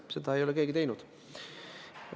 Seda ei ole keegi teinud.